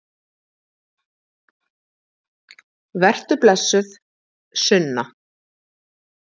Vertu blessuð, Sunna.